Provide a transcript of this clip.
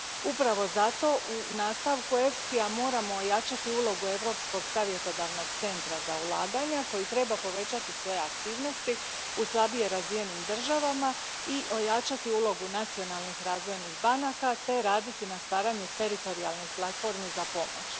Upravo zato u nastavku EFSI ja moramo ojačati ulogu Europskog savjetodavnog centra za ulaganja, koji treba povećati svoje aktivnosti u slabije razvijenim državama i ojačati ulogu nacionalnih razvojnih banaka te raditi na stvaranju teritorijalnih platformi za pomoć.